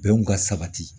Bɛnw ka sabati